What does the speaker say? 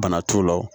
Bana t'u la